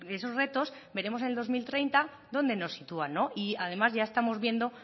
esos retos veremos en el dos mil treinta donde nos sitúan y además ya estamos viendo